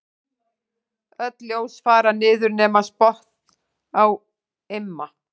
Öll ljós fara niður nema spott á Imma.